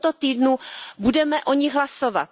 V tomto týdnu budeme o nich hlasovat.